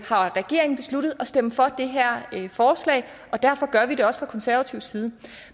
har regeringen besluttet at stemme for det her forslag og derfor gør vi det også fra konservativ side